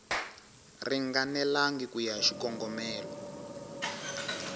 ringanelangi ku ya hi xikongomelo